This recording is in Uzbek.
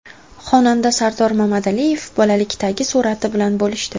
Xonanda Sardor Mamadaliyev bolalikdagi surati bilan bo‘lishdi.